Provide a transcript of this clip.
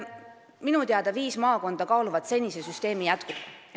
Minu teada on viis maakonda, kus kaalutakse senise süsteemi jätkumist.